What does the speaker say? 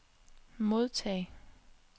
modtag